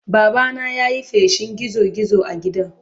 Babana ya yi feshin gizo-gizo a gidan.